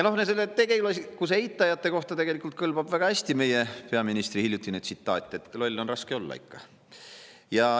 No tegelikkuse eitajate kohta kõlbab väga hästi meie peaministri hiljutine tsitaat "Loll on raske olla ikka".